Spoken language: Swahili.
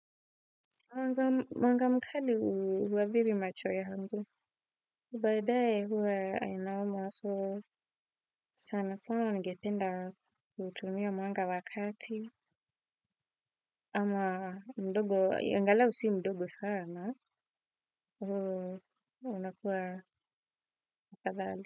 Mwanga mkali huadhiri macho yangu. Baadaye huwa ni noma so sana sana ningependa kuutumia mwanga wa kati. Ama mdogo, angalau si mdogo sana ndiyo unakuwa afadhali.